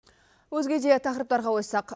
өзге де тақырыптарға ойыссақ